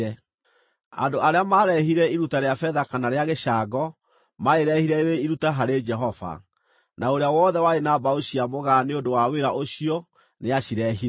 Andũ arĩa maarehire iruta rĩa betha kana rĩa gĩcango, maarĩrehire rĩrĩ iruta harĩ Jehova, na ũrĩa wothe warĩ na mbaũ cia mũgaa nĩ ũndũ wa wĩra ũcio nĩacireehire.